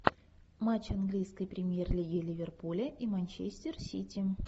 матч английской премьер лиги ливерпуля и манчестер сити